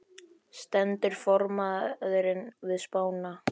Stendur formaðurinn við spána?